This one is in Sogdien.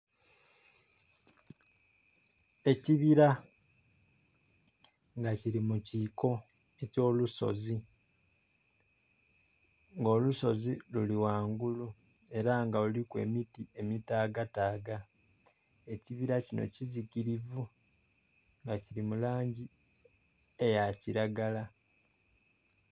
Ekibira nga kiri mu kiiko ekyo lusozi, nga olusozi luri ghangulu era nga luliku emiti emitaagataaga, ekibira kino kizikirivu, nga kiri mu langi eya kiragala.